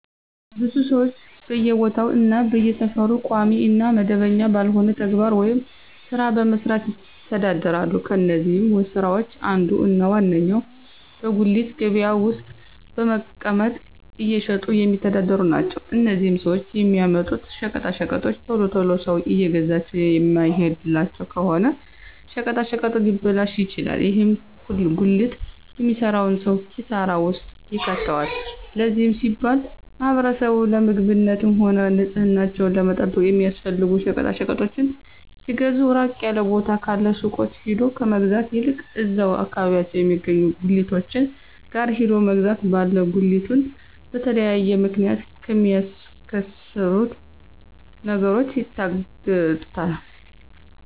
ብዙ ሰወች በየቦታው እና በየሰፈሩ ቋሚ እና መደበኛ ባልሆነ ተግባር ወይም ስራ በመስራት ይተዳደራሉ። ከነዚህም ስራወች አንዱ እና ዋነኛው በጉሊት ገበያ ውስጥ በመቀመጥ እየሸጡ የሚተዳደሩ ናቸው። እነዚህም ሰወች የሚያመጡት ሸቀጣሸቀጦች ቶሎ ቶሎ ሰው እየገዛቸው የማይሄድላቸው ከሆነ ሸቀጣሸቀጡ ሊበላሹ ይችላሉ። ይህም ጉሊት የሚሰራውን ሰው ኪሳራ ውስጥ ይከተዋል። ለዚህም ሲባል ማህበረሰቡ ለምግብነትም ሆነ ንፅህናቸውን ለመጠበቅ የሚያስፈልጉ ሸቀጣሸቀጦችን ሲገዙ ራቅ ያለ ቦታ ካሉ ሱቆች ሄዶ ከመግዛት ይልቅ እዛው አከባቢያቸው የሚገኙ ጉሊቶች ጋር ሄዶ መግዛት ባለ ጉሊቱን በተለያየ ምክንያት ከሚያከስሩት ነገሮች ይታደጉታል።